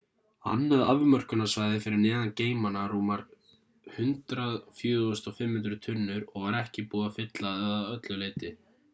annað afmörkunarsvæði fyrir neðan geymana rúmar 104.500 tunnur og var ekki búið að fylla að öllu leyti